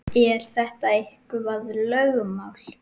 Er þetta eitthvað lögmál?